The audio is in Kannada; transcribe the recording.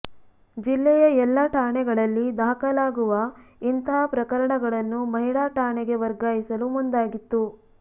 ಜಿಲ್ಲೆಯ ಎಲ್ಲ ಠಾಣೆಗಳಲ್ಲಿ ದಾಖಲಾಗುವ ಇಂತಹ ಪ್ರಕರಣಗಳನ್ನು ಮಹಿಳಾ ಠಾಣೆಗೆ ವರ್ಗಾಯಿಸಲು ಮುಂದಾಗಿತ್ತು